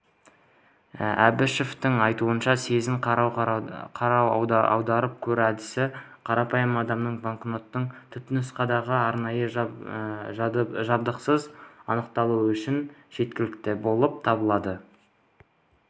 әбішеваның айтуынша сезін-қара-аударып көр әдісі қарапайым адамның банкноттың түпнұсқалығын арнайы жабдықсыз анықтауы үшін жеткілікті болып табылады